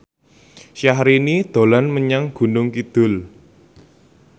Syahrini dolan menyang Gunung Kidul